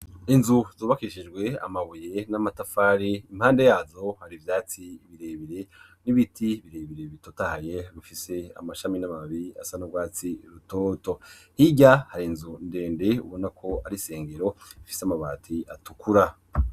Inzu zubakishijwe amabuye n'amatafari, impande yazo hari ivyatsi birebire n'ibiti birebire bitotahaye bifise amashami n'amababi asa n'urwatsi rutoto, hijya hari inzu ndende ubona ko ari isengero ifise amabati atukura,